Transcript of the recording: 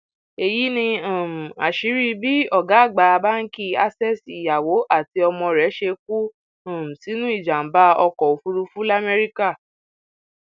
èyí ni um àṣírí bí ọgá àgbà báǹkì access ìyàwó àti ọmọ rẹ ṣe kú um sínú ìjàmbá ọkọ òfúrufú lamẹríkà